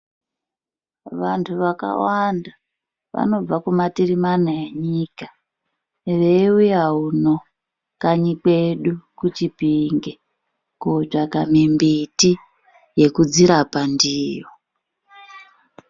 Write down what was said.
Vantu vakawanda vanobva kumatirimana enyika veiuya uno kanyi kwedu Chipinge kotsvaka mumbiti yekudzirapa ndiyo.